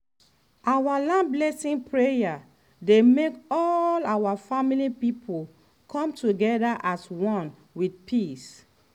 our land blessing prayer dey make all our family people come together as one with peace.